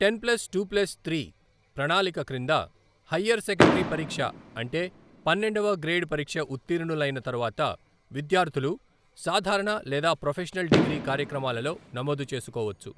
Ten plus two plus three ప్రణాళిక క్రింద, higher secondary పరీక్ష అంటే పన్నెండవ గ్రేడ్ పరీక్ష ఉత్తీర్ణులైన తరువాత, విద్యార్థులు సాధారణ లేదా ప్రొఫెషనల్ డిగ్రీ కార్యక్రమాలలో నమోదు చేసుకోవచ్చు.